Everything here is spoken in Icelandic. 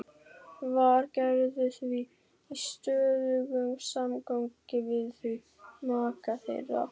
Var Gerður því í stöðugum samgangi við þau, maka þeirra